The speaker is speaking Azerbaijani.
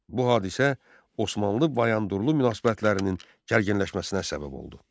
Bu hadisə Osmanlı-Bayandurlu münasibətlərinin gərginləşməsinə səbəb oldu.